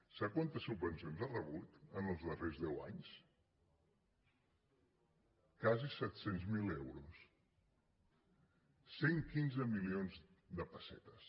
sap quantes subvencions ha rebut els darrers deu anys quasi set cents miler euros cent i quinze milions de pessetes